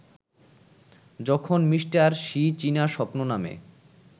যখন Mr. Xi চীনা স্বপ্ন নামে